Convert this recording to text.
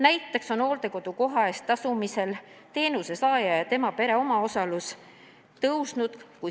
Näiteks on hooldekodu koha eest tasumisel teenuse saaja ja tema pere omaosalus kasvanud.